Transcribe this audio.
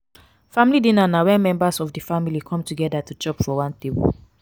family dinner na when members of di family come together to chop for one table